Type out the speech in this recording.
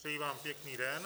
Přeji vám pěkný den.